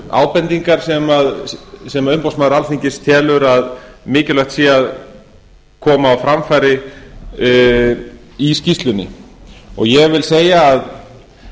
ábendingar sem umboðsmaður alþingis telur að mikilvægt sé að komi á framfæri í skýrslunni og ég vil segja að